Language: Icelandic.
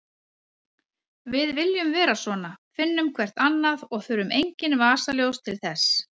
Við sem viljum vera svona finnum hvert annað og þurfum engin vasaljós til þess.